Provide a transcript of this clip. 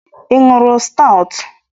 Ị ṅụrụ stoutu?